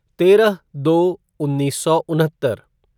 तेरह दो उन्नीस सौ उनहत्तर